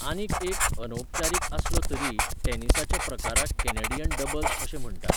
आनीक एक, अनौपचारीक आसलो तरीय, टेनिसाच्या प्रकाराक कॅनॅडियन डबल्स अशें म्हण्टात.